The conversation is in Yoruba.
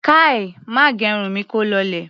Kai! Má gẹrun mi kó lọlẹ̀!